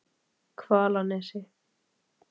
Hvalnesi